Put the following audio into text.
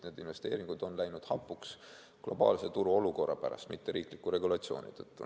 Need investeeringud on läinud hapuks globaalse turuolukorra pärast, mitte riikliku regulatsiooni tõttu.